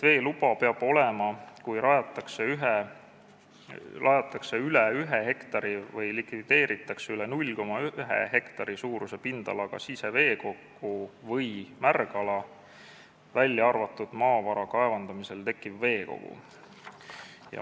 Veeluba peab olema, kui rajatakse üle 1 hektari või likvideeritakse üle 0,1 hektari suuruse pindalaga siseveekogu või märgala, välja arvatud maavara kaevandamisel tekkiv veekogu.